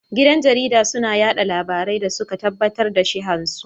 Gidan jarida suna yada labarai da suka tabbatar da shihan su